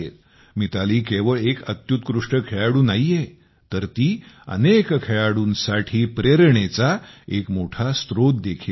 मिताली केवळ एक अत्युत्कृष्ट खेळाडू नाहीये तर ती अनेक खेळाडूंसाठी प्रेरणेचा एक मोठा स्त्रोत देखील आहे